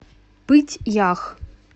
пыть ях